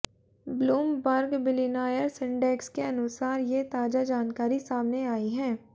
Bloomberg billionaires index के अनुसार ये ताजा जानकारी सामने आई हैं